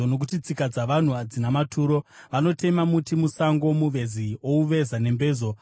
Nokuti tsika dzavanhu hadzina maturo; vanotema muti musango, muvezi ouveza nembezo.